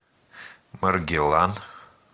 маргилан